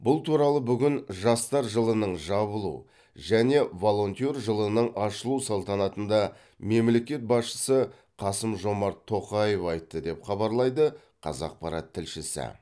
бұл туралы бүгін жастар жылының жабылу және волонтер жылының ашылу салтанатында мемлекет басшысы қасым жомарт тоқаев айтты деп хабарлайды қазақпарат тілшісі